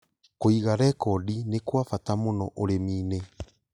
Kũiga rekondi nĩ kwa bata mũno ũrĩmi-inĩ.